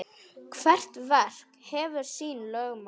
Hvert verk hefur sín lögmál.